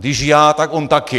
Když já, tak on taky.